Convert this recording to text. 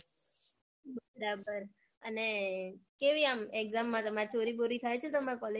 બરાબર અને કેવી આમ exam માં તમાર ચોરી બોરી થાય છે તમારે college માં.